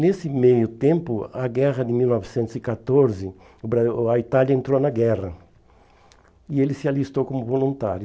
Nesse meio tempo, a guerra de mil novecentos e catorze, o Bra o a Itália entrou na guerra, e ele se alistou como voluntário.